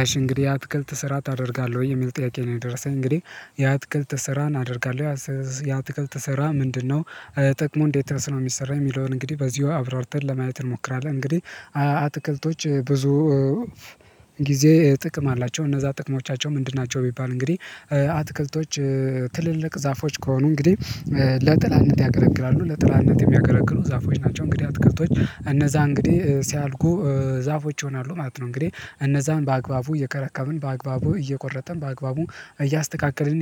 አሽ እንግዲህ አትክልት ስራ ታደርጋለህ ወይ የሚል ጥያቄ ነው? የደረሰኝ እንግዲህ የአትክልት ስራን አደርጋለሁ። ያትክልት ስራ ምንድነው ጥቅሞ እንዴት ነው የሚሰራው የሚለውን እንግዲህ በዚሁ አብራርተን ለማየት እንሞክራለን። እንግዲህ አትክልቶች ብዙ ጊዜ ጥቅም አላቸው እነዛ ጥቅሞቻቸው ምንድን ናቸው? ቢባል እንግዲህ አትክልቶች ትልልቅ ዛፎች ከሆኑ እንግዲህ ለጥላነት ያገለግላሉ ለጥላነት የሚያገለግሉ ዛፎች ናቸው እንግዲህ አትከቶች እነዛ እንግዲህ ሲያድጉ ዛፎች ይሆናሉ ማለት ነው። እንግዲህ እነዛን በአግባቡ እየከረከምን በአግባቡ እየቆረጠን በአግባቡ እያስተካከልን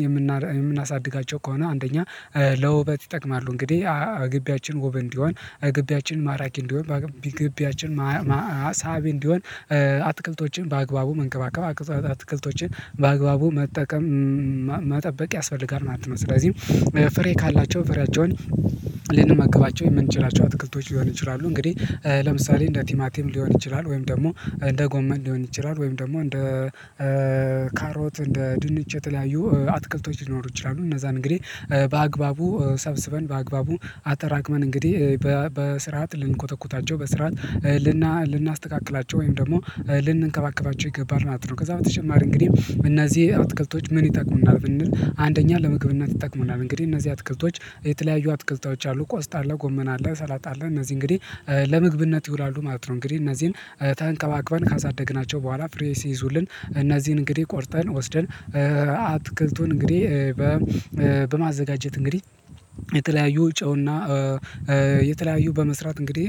የምናሳድጋቸው ከሆነ አንደኛ ለውበት ይጠቅማሉ። እንግዲህ እግቢያችን ውብ እንዲሆን እግቢያችን ማራኪ እንዲሆን ግቢያችን ሳቢ እንዲሆን አትክልቶችን በአግባቡ መንከባከብ አትክልቶችን በአግባቡ መጠቀም መጠበቅ ያስፈልጋል። ስለዚህ ፍሬ ካላቸው ፍሬያቸውን ልንመገባቸው የምንችላቸው አትክልቶች ሊሆን ይችላሉ እንግዲህ ለምሳሌ እንደ ቲማቲም ሊሆን ይችላል ወይም ደግሞ እንደ ጎመን ሊሆን ይችላል ወይም ደግሞ እንደ ካሮት እንደ ድንች የተለያዩ አትክልቶች ሊኖሩ ይችላሉ። እነዛን እንግዲህ በአግባቡ ሰብስበን በአግባቡ አጠራቅመን እንግዲህ በስርዓት ልንኮተኩታቸው በስርዓት ልናስተካክላቸው ወይም ደግሞ ልንንከባከባቸው ይገባል ማለት ነው። ከዛ በተጨማሪ እንግዲህ እነዚህ አትክልቶች ምን ይጠቅሙናል ብንል አንደኛ ለምግብ እና ይጠቅሙናል እንግዲህ እነዚህ አትክልቶች የተለያዩ አትክልቶች አሉ ቆስጣ አለ ጎመን አለ ሰላጣ አለ እነዚህ እንግዲህ ለምግብነት ይውላሉ ማለት ነው። እንግዲህ እነዚህን ተንከባክበን ካሳደግናቸው በኋላ ፍሬ ሲይዙልን እነዚህን እንግዲህ ቆርጠን ወስደን አትክልቱን እንግዲህ በማዘጋጀት እንግዲህ የተለያዩ ጨውና የተለያዩ በመስራት እንግዲህ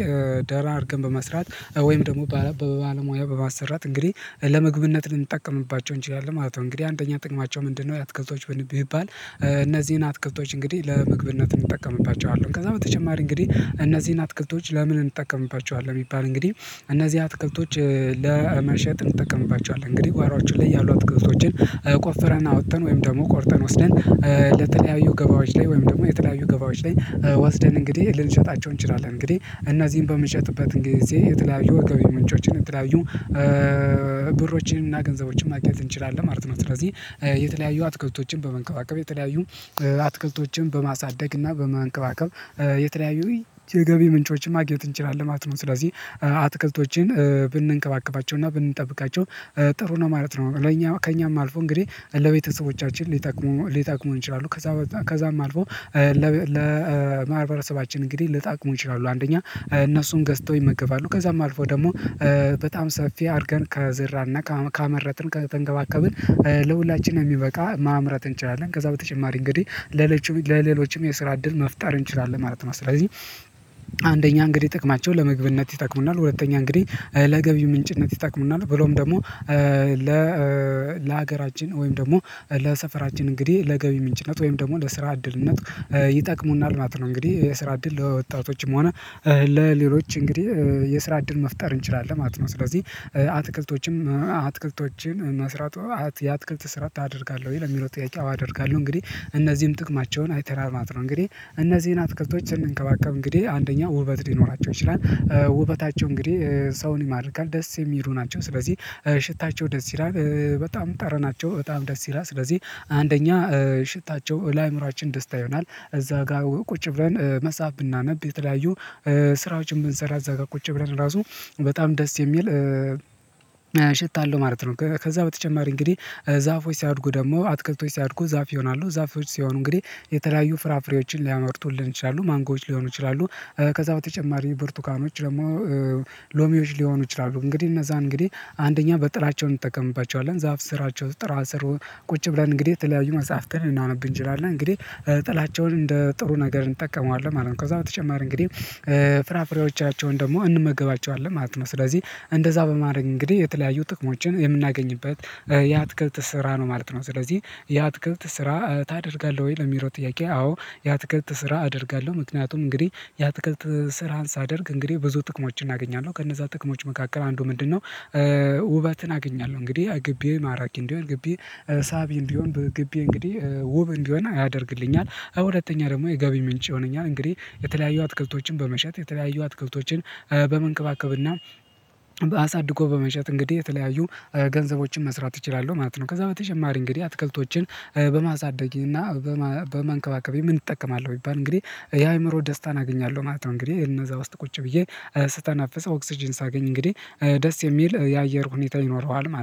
ደና አድርገን በመስራት ወይም ደግሞ ባለሙያ በማሰራት እንግዲህ ለመግብነት ልንጠቀምባቸው እንችላለን ማለት ነው። እንግዲህ አንደኛ ጥቅማቸው ምንድነው? የአትክልቶች ቢባል እነዚህን አትከልቶች እንግዲህ ለምግብነት እንጠቀምባቸዋለን ከዛ በተጨማሪ እንግዲህ እነዚህን አትክልቶች ለምን እንጠቀምባቸዋለን? ቢባል እንግዲህ እነዚህ አትክልቶች ለመሸጥ እንጠቀምባቸዋለን እንግዲህ ጓሮአችሁ ላይ ያሉ አትክልቶችን ቆፈረን አወጥተን ወይም ደግሞ ቆርጠን ወስደን ለተለያዩ ገበያዎች ላይ ወይም ደግሞ የተለያዩ ገበያዎች ላይ ወስደን እንግዲህ ልንሸጣቸው እንችላለን። እንግዲህ እና እዚህን በምንሸጥበት ጊዜ የተለያዩ ገቢ ምንጮችን የተለያዩ ብሮችንና ገንዘቦችን ማግኜት እንችላለን ማለት ነው። ስለዚህ የተለያዩ አትክልቶችን በመንከባከብ የተለያዩ አትክልቶችን በማሳደግ እና በማንከባከብ የተለያዩ የገቢ ምንጮችን ማግኘት እንችላለን ማለት ነው። ስለዚህ አትክልቶችን ብንከባከባቸውና ብንጠብቃቸው ጥሩ ነው ማለት ነው። ለኛ ከእኛም አልፎ እንግዲህ ለቤተሰቦቻችን ሊጠቅሙ ሊጠቅሙ ይችላሉ ከዛ በኋላ ከዛም አልፎ ለማህበረሰባችን እንግዲህ ሊጠቅሙ ይችላሉ። አንደኛ እነሱን ገዝተው ይመገባሉ ከዛም አልፎ ደግሞ በጣም ሰፊ አድርገን ከዘራንና ከአመረትን ከተንከባከብን ለሁላችንም የሚበቃ ማምረት እንችላለን ከዛ በተጨማሪ እንግዲህ ለሌሎችም ለሌሎችም የስራ እድል መፍጠር እንችላለን ማለት ነው። ስለዚህ አንደኛ እንግዲህ ጥቅማቸውን ለምግብነት ይጠቅሙናል ሁለተኛ እንግዲህ ለገቢ ምንጭነት ይጠቅሙናል ብሎም ደግሞ ለሀገራችን ወይም ደግሞ ለሰፈራችን እንግዲህ ለገቢ ምንጭነት ወይም ደግሞ ለስራ እድልነት ይጠቅሙናል ማለት ነው። እንግዲህ የስራ እድል ለወጣቶችም ሆነ ለሌሎች እንግዲህ የስራ እድል መፍጠር እንችላለን ማለት ነው። ስለዚህ አትክልቶችም አትክልቶችን መስራቱ የአትክልት ስራ ታደርጋለህ ወይ ለሚለው ጥያቄ አዎ አደርጋለሁ። እንግዲህ እነዚህም ጥቅማቸውን አይተናል መለት ነው እንግዲህ እነዚህን አትክልቶች ስንከባከብ እንግዲህ አንደኛ ውበት ሊኖራቸው ይችላል ውበታቸው እንግዲህ ሰውን ይማርካል ደስ የሚሉ ናቸው። ስለዚህ ሽታቸው ደስ ይላል በጣም ጠረናቸው በጣም ደስ ይላል ስለዚህ አንደኛ ሽታቸው ለአእምሮአችን ደስታ ይሆናል። እዛ ጋር ቁጭ ብለን መፀሃፍ ብናነብ የተለያዩ ስራዎችን ብንሰራ እዛ ጋር ቁጭ ብለን ራሱ በጣም ደስ የሚል ሸታ አለሁ ማለት ነው። ከዛ በተጨማሪ እንግዲህ ዛፎች ሲያድጉ ደግሞ አትክልቶች ሲያድጉ ዛፍ ይሆናሉ ዛፎች ሲሆኑ እንግዲህ የተለያዩ ፍራፍሬዎችን ሊያመርቱልን ይችላሉ ማንጎዎች ሊሆኑ ይችላሉ። ከዛ በተጨማሪ ብርቱካኖች ደግሞ ሎሚዎች ሊሆኑ ይችላሉ እንግዲህ እነዛ እንግዲህ አንደኛ በጥላቸው እንጠቀምባቸዋለን ዛፍ ስራቸው ጥላ ስር ቁጭ ብለን እንግዲህ ተለያዩ መጽሐፍትን ልናነብ እንችላለን እንግዲህ ጥላቸውን እንደ ጥሩ ነገር እንጠቀመዋለን ማለት ነው። ከዛ በተጨማሪ እንግዲህ ፍራፍሬዎቻቸውን ደግሞ እንመገባቸዋለን ማለት ነው። ስለዚህ እንደዛ በማድረግ እንግዲህ የተለያዩ ጥቅሞችን የምናገኝበት የአትክልት ስራ ነው ማለት ነው። ስለዚህ የአትክልት ስራ ታደርጋለህ ወይ ለሚለው ጥያቄ? አዎ የአትክልት ስራ አደርጋለሁ። ምክንያቱም እንግዲህ የአትክልት ስራን ሳደርግ እንግዲህ ብዙ ጥቅሞችን አገኛለሁ ከነዛ ጥቅሞች መካከል አንዱ ምንድነው? ውበትን አገኛለሁ እንግዲህ ግቢ ማራቂ እንዲሆን ግቢ ሳቢ እንዲሆን በግቢ እንግዲህ ውብ እንዲሆን ያደርግልኛል። ሁለተኛ ደግሞ የገቢ ምንጭ ይሆናል እንግዲህ የተለያዩ አትክልቶችን በመሸጥ የተለያዩ አትክልቶችን በመንከባከብና አሳድጎ በመሸጥ እንግዲህ የተለያዩ ገንዘቦችን መስራት እችላለሁ ማለት ነው። ከዛ በተጨማሪ እንግዲህ አትክልቶችን በማሳደግ እና በማንከባከቤ ምን እጠቀማለሁ ቢባል እንግዲህ የአእምሮ ደስታን አገኛለሁ ማለት ነው። እንግዲህ እነዛ ውስጥ ቁጭ ብዬ ስተነፍስ ኦክስጅን ሳገኝ እንግዲህ ደስ የሚል የአየር ሁኔታ ይኖረዋል ማለት ነው